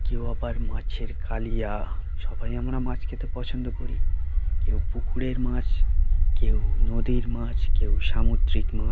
কেউ আবার মাছের কালিয়া সবাই আমরা মাছ খেতে পছন্দ করি কেউ পুকুরের মাছ কেউ নদীর মাছ কেউ সামুদ্রিক মাছ ।